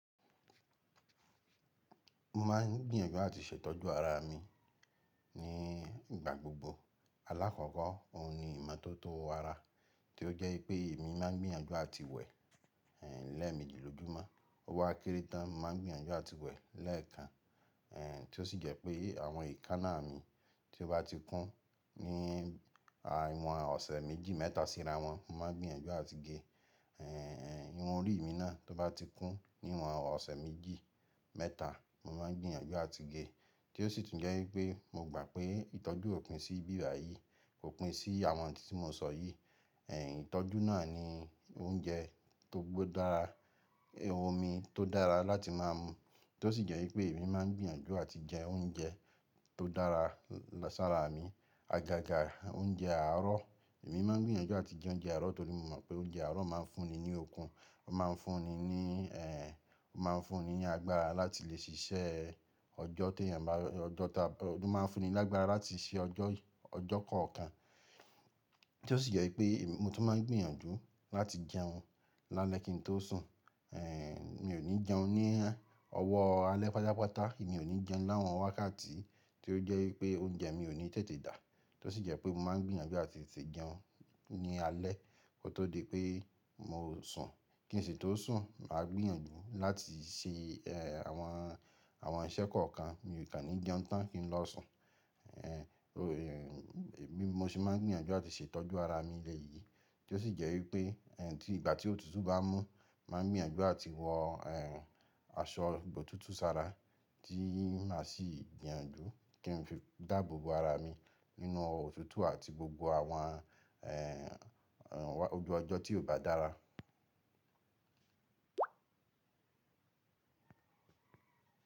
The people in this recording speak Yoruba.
Mo máà ń gbìyànjú àti ṣe ìtọ́jú ara mi ní ìgbà gbogbo. Alákọ̀ọ́kọ́ òun ni ìmọ́tótó ara tí ó jẹ́ pé èmi máa ń gbìyànjú àti wẹ̀ lẹ́ẹ̀mejìlójúmọ́. Ó wà kéré tán, mo máa ń gbìyànjú àti wẹ̀ lẹ́ẹ̀kan. Tí ó sì jẹ́ pé àwọn ìkanna mi tí ó bá ti kún ní ìwọ̀n ọ̀sẹ̀ méjì mẹ́ta síra wọn, mo máa ń gbìyànjú àti ge. Ìru orí mi náà tó bá ti kún ní ìwọ̀n ọ̀sẹ̀ méjì mẹ́ta, mo máa ń gbìyànjú àti ge. Tí ó sì tún jẹ́ wípé mo gbà pé ìtọ́jú òpin sí bíbàyí kò pín sí àwọn ohun tí mo sọ yìí. Ìtọ́jú náà ni oúnjẹ tó ba dára, omí tó dára láti má mú tí ó sì jẹ́ wípé èmi máa ń gbìyànjú àti jẹ oúnjẹ tó dára sára mi. Àgàgà oúnjẹ àárọ̀, máa ń gbìyànjú àti jẹ oúnjẹ àárọ̀ torí mo mọ̀ pé oúnjẹ àárọ̀ máa ń fún ni ní okun, ó máa ń fún ni ní, ó máa ń fún ni ní agbára láti lè ṣiṣẹ́ ọjọ́ tí èèyàn bá, ọjọ́ tá, ó máa ń fún ni lágbára láti ṣe ọjọ́, ọjọ́ kọ̀ọ̀kan. Tí ó sì jẹ́ wípé èmi mo tún máa ń gbìyànjú láti jẹun lálẹ́ kí n tó sùn. Mi ò ní jẹun ní ọwọ́ alẹ́ pátápátá, èmi ò ní jẹun láwọn wákàtí tí ó jẹ́ wípé oúnjẹ mi ò ní tètè dà. Tí ó sì jẹ́ pé mo máa ń gbìyànjú àti tètè jẹun ní alẹ́ kó tó di pé mo sùn. Kí ì ṣe tó sùn, màá gbìyànjú láti ṣẹ àwọn, àwọn iṣẹ́ kọ̀ọ̀kan. Mi ò kà ní jẹun tán kí n lọ sùn. Mo sì máa ń gbìyànjú àti ṣe ìtọ́jú ara mi lẹ́ yìí. Tí ó sì jẹ́ wípé tí ìgbà tí òtútù bá mú, màá gbìyànjú àti wọ eh aṣọ ibò tútù sára tí màá sì gbìyànjú kí n fi dáàbò bo ara mi nínú òtútù àti gbogbo àwọn eh ojú ọjọ́ tí ò bá dára.